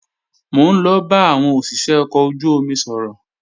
Mò ń lọ bá àwọn òṣìṣé ọkọ̀ ojú-omi sọ̀rọ̀